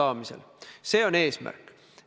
Austatud minister!